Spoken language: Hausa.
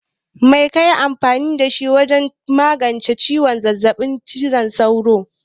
Mai kaƴi amfani da wajen magance ciwon zazzabin sauro na ɗa?